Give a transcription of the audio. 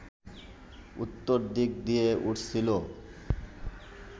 উত্তর দিক দিয়ে উড়ছিল